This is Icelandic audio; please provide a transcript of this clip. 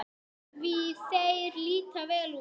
Því þeir líta vel út?